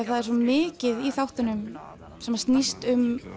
það er svo mikið í þáttunum sem snýst um